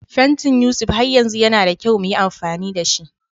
Fantin Yusuf har yanzu yana da kyau mu yi amfani da shi